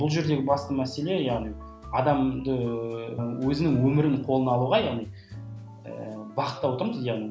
бұл жердегі басты мәселе яғни адамды өзінің өмірін қолына алуға яғни ыыы бағыттап отырмыз яғни